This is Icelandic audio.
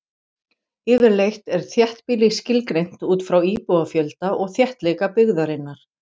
Yfirleitt er þéttbýli skilgreint út frá íbúafjölda og þéttleika byggðarinnar.